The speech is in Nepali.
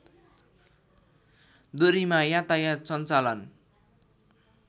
दूरीमा यातायात सञ्चालन